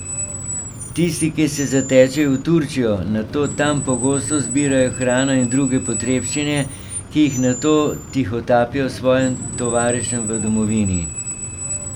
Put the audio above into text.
Tisti, ki se zatečejo v Turčijo, nato tam pogosto zbirajo hrano in druge potrebščine, ki jih nato tihotapijo svojim tovarišem v domovini.